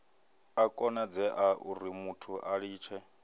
a konadzea urimuthu a litshe